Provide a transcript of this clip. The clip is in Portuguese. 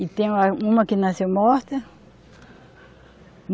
E tem uma, uma que nasceu morta.